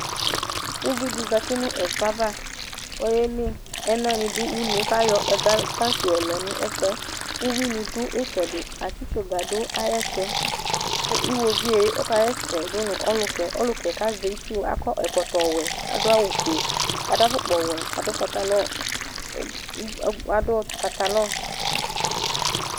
uvi dɩ zati nʊ vegele ava kʊ ɛnanɩ dʊ uneyɛ ava kʊ ayɔ ɛga ayu tankinɩ yɔ lɛ nʊ ɛfu yɛ, kʊ uwi nɩ dʊ itsedɩ, itsu tsuga lɛ ʊ ayɛtu, kʊ iwoviu yɛ asɛsɛ dʊ nʊ ɔluka yɛ, ɔluka yɛ azɛ itsu kʊ akɔ ɛkɔtɔ wɛ kʊ adʊ awu fue, adʊ ilɛnuti wɛ, kʊ adʊ pantalon